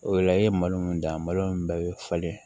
O la i ye malo mun dan malo in bɛɛ bɛ falen